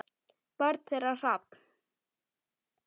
Barn þeirra: Hrafn.